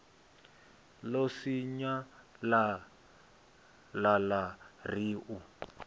ḽo sinyalala ḽa ri u